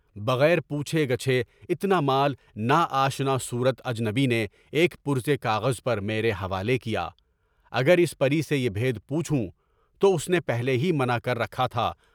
بغیر پوچھے گاچھے اتنامال نا آشنا صورت اجنبی نے ایک پرچہ کاغذ میرے حوالے کیا، اگر اس پری سے یہ بھیت پوچھوں تو اس نے پہلے ہی منع کر رکھا تھا۔